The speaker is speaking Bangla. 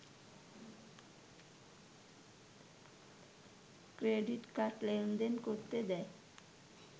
ক্রেডিট কার্ড লেনদেন করতে দেয়